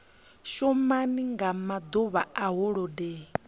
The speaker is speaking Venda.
shuma nga maḓuvha a holodeni